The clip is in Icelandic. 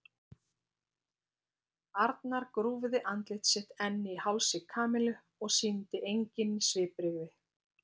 Arnar grúfði andlit sitt enn í hálsi Kamillu og sýndi engin svipbrigði.